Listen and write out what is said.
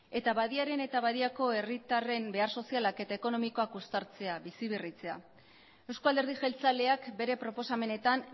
eta badiaren eta badiako herritarren behar sozialak eta ekonomikoak uztartzea biziberritzea euzko alderdi jeltzaleak bere proposamenetan